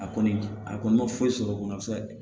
A kɔni a kɔni ma foyi sɔrɔ o kɔnɔ a bɛ se ka kɛ